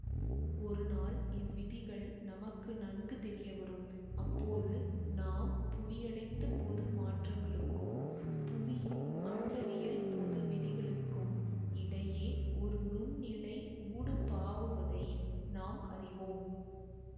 ஒருநால் இவ்விதிகள் நமக்கு நன்கு தெரியவரும் அப்போது நாம் புவியடைந்த பொது மாற்றங்களுக்கும் புவியின் அண்டவியல் பொதுவிதிகளுக்கும் இடையே ஒரு நுண்ணிழை ஊடுபாவுவதை நாம் அறிவோம்